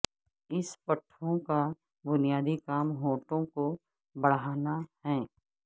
اس پٹھوں کا بنیادی کام ہونٹوں کو بڑھانا ہے